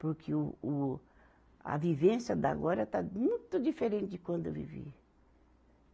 Porque o, o, a vivência de agora está muito diferente de quando eu vivi.